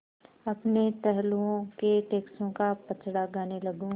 अपने टहलुओं के टैक्सों का पचड़ा गाने लगूँ